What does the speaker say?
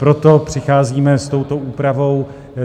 Proto přicházíme s touto úpravou.